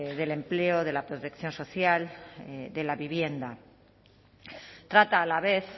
el empleo de la protección social de la vivienda trata a la vez